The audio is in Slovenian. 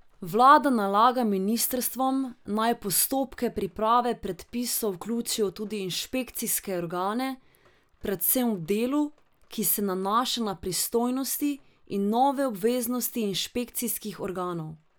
Vlada nalaga ministrstvom, naj v postopke priprave predpisov vključijo tudi inšpekcijske organe, predvsem v delu, ki se nanaša na pristojnosti in nove obveznosti inšpekcijskih organov.